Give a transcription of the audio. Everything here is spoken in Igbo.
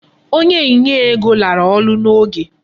Onye nye ego lara ọrụ n"oge.